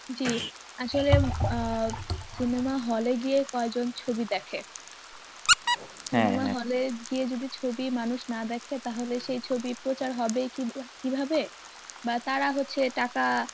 জী, আসলে আহ cinema hall এ গিয়ে কয়জন ছবি দেখে cinema hall এ গিয়ে যদি ছবি মানুষ না দেখে তাহলে সেই ছবি প্রচার হবে কিভা~ কীভাবে বা তারা হচ্ছে টাকা